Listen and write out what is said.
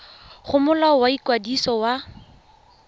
go molao wa ikwadiso wa